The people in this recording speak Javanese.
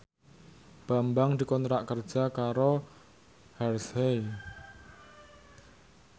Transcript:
Bambang dikontrak kerja karo Hershey